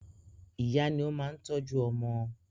Ìyá ní ó máa ń tọ́jú ọmọ.